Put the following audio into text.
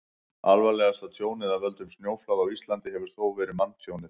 alvarlegasta tjónið af völdum snjóflóða á íslandi hefur þó verið manntjónið